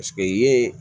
Paseke ye